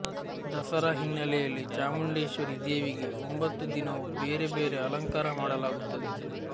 ದಸರಾ ಹಿನ್ನೆಲೆಯಲ್ಲಿ ಚಾಮುಂಡೇಶ್ವರಿ ದೇವಿಗೆ ಒಂಭತ್ತು ದಿನವೂ ಬೇರೆ ಬೇರೆ ಅಲಂಕಾರ ಮಾಡಲಾಗುತ್ತದೆ